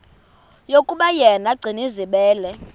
yokuba yena gcinizibele